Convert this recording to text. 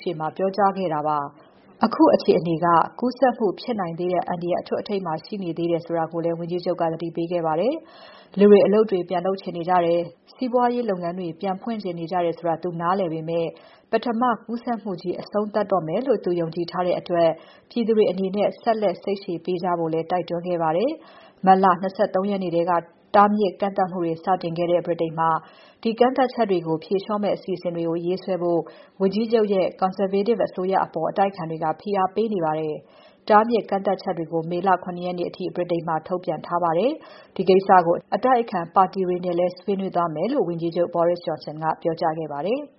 ရှေ့မှာ ပြောကြားခဲ့တာဖြစ်ပါတယ်။ အခုအခြေအနေက ကူးစက်မှုဖြစ်နိုင်သေးတဲ့အန္တရာယ် အထွဋ်အထိပ်မှာ ရှိနေသေးတယ်ဆိုတာကိုလည်း ဝန်ကြီးချုပ်က သတိပေးခဲ့ပါတယ်။ လူတွေ၊ အလုပ်တွေ ပြန်လုပ်ချင်နေကြတယ်၊ စီးပွားရေးလုပ်ငန်းတွေ ပြန်ဖွင့်ချင်နေကြတယ်ဆိုတာကို သူနားလည်ပေမဲ့ ပထမကူးစက်မှုကြီး အဆုံးသတ်တော့မယ်လို့ သူယုံကြည်ထားတဲ့အတွက် ပြည်သူတွေအနေနဲ့ ဆက်လက်စိတ်ရှည်ပေးကြဖို့လည်း တိုက်တွန်းသွားပါတယ်။ မတ်လ ၂၃ ရက်နေ့ထဲက တားမြစ်ကန့်သတ်မှုတွေ စတင်တဲ့ ဗြိတိန်မှာ ဒီကန့်သတ်မှုတွေကို ဖြေလျှော့မယ့် အစီအစဉ်တွေ ရေးဆွဲဖို့ ဝန်ကြီးချုပ်ရဲ့ Conservative အစိုးရအပေါ် အတိုက်အခံတွေက ဖိအားပေးနေပါတယ်။ တားမြစ်ကန့်သတ်ချက်တွေကို မေလ ၇ ရက်နေ့အထိ ဗြိတိန်မှာ ထုတ်ပြန်ထားပါတယ်။ ဒီကိစ္စကို အတိုက်အခံပါတီတွေနဲ့လည်း ဆွေးနွေးသွားမယ်လို့ ဝန်ကြီးချုပ် Boris Johnson ကပြောကြားခဲ့ပါတယ်။